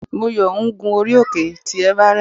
Moyo ń gún orí òkè tí everest.